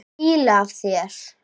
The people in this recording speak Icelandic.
Það er fýla af þér.